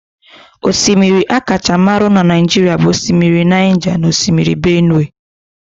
Osimiri akacha marụ na Naijiria bụ osimiri Naija na Osimiri Benue